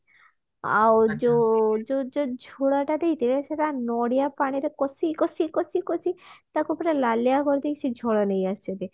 ଆଉ ଯୋଉ ଯୋଉ ଝୋଳ ଟା ଦେଇଥିଲେ ସେଟା ନଡିଆ ପାଣିରେ କଷି କଷି କଷି କଷି ତାକୁ ପୁରା ଲାଲିଆ କରିଦେଇ ସେ ଝୋଳ ନେଇ ଆସିଛନ୍ତି